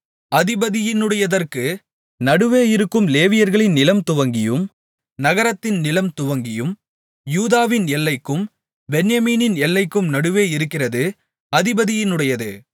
அதிபதியினுடையதற்கு நடுவே இருக்கும் லேவியர்களின் நிலம் துவங்கியும் நகரத்தின் நிலம்துவங்கியும் யூதாவின் எல்லைக்கும் பென்யமீனின் எல்லைக்கும் நடுவே இருக்கிறது அதிபதியினுடையது